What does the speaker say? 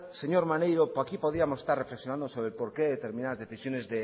señor maneiro aquí podíamos estar reflexionando sobre por qué determinadas decisiones